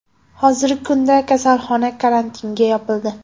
Hozirgi kunda kasalxona karantinga yopildi.